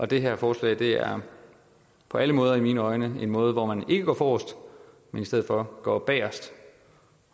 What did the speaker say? det her forslag er på alle måder i mine øjne en måde hvor man ikke går forrest men i stedet for går bagest